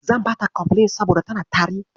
Zan bata kofilin saboda tana tari.